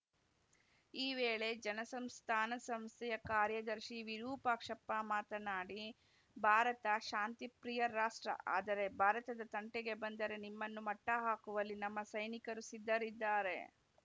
ಈ ವೇಳೆ ಜನಸಂಸ್ಥಾನ ಸಂಸ್ಥೆಯ ಕಾರ್ಯದರ್ಶಿ ವಿರುಪಾಕ್ಷಪ್ಪ ಮಾತನಾಡಿ ಭಾರತ ಶಾಂತಿಪ್ರಿಯ ರಾಷ್ಟ್ರ ಆದರೆ ಭಾರತದ ತಂಟೆಗೆ ಬಂದರೆ ನಿಮ್ಮನ್ನು ಮಟ್ಟಹಾಕುವಲ್ಲಿ ನಮ್ಮ ಸೈನಿಕರು ಸಿದ್ಧರಿದ್ದಾರೆ